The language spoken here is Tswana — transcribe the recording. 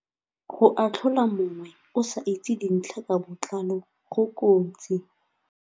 Go atlhola mongwe o sa itse dintlha ka botlalo go kotsi.